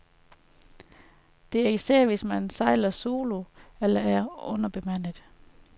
Det er især, hvis man sejler solo eller er underbemandet.